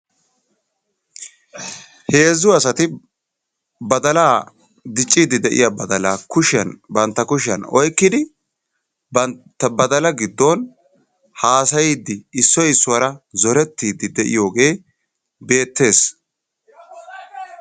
Heezzu asaati badaala diccidi deiya badaala kushiyan bantta kushiyan oyqqidi bantta badaala gidon haasayidi issoy issuwara zorettidi de'iyoge betees.